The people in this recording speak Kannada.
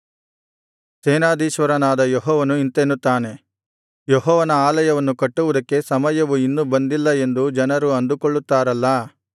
ಸೇನಾಧೀಶ್ವರನಾದ ಯೆಹೋವನು ಇಂತೆನ್ನುತ್ತಾನೆ ಯೆಹೋವನ ಆಲಯವನ್ನು ಕಟ್ಟುವುದಕ್ಕೆ ಸಮಯವು ಇನ್ನು ಬಂದಿಲ್ಲ ಎಂದು ಜನರು ಅಂದುಕೊಳ್ಳುತ್ತಾರಲ್ಲಾ